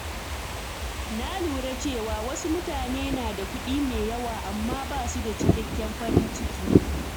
Na lura cewa wasu mutane na da kuɗi mai yawa amma ba su da cikakken farin ciki.